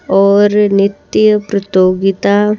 और नित्य प्रतियोगिता --